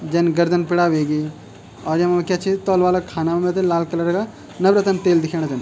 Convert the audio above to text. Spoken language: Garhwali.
जन गर्दन पिडा ह्वेगी और यमा क्या च तौल वाला खाना मा ते लाल कलर का नवरतन तेल दिखेंणा छन।